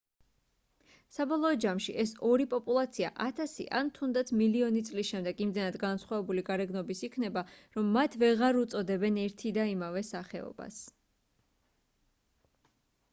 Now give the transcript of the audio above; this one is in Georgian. საბოლოო ჯამში ეს ორი პოპულაცია ათასი ან თუნდაც მილიონი წლის შემდეგ იმდენად განსხვავებული გარეგნობის იქნება რომ მათ ვეღარ უწოდებენ ერთი და იმავე სახეობას